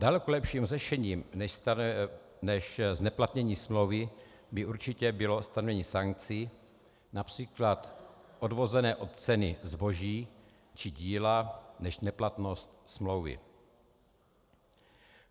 Daleko lepším řešením než zneplatnění smlouvy by určitě bylo stanovení sankcí například odvozené od ceny zboží či díla než neplatnost smlouvy.